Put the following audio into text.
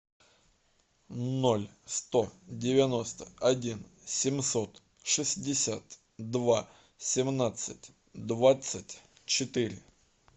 ноль сто девяносто один семьсот шестьдесят два семнадцать двадцать четыре